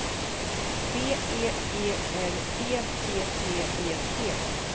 B E G R E P P E T